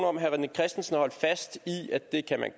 om herre rené christensen har holdt fast i at det kan man